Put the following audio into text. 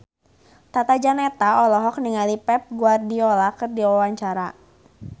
Tata Janeta olohok ningali Pep Guardiola keur diwawancara